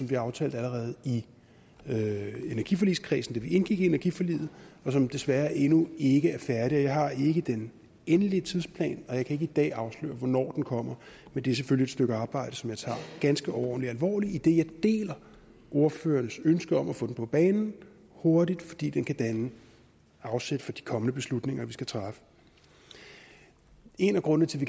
vi aftalte allerede i energiforligskredsen da vi indgik energiforliget og som desværre endnu ikke er færdig jeg har ikke den endelige tidsplan og jeg kan ikke i dag afsløre hvornår den kommer men det er selvfølgelig et stykke arbejde som jeg tager ganske overordentlig alvorligt idet jeg deler ordførerens ønske om at få den på banen hurtigt fordi den kan danne afsæt for de kommende beslutninger vi skal træffe en af grundene til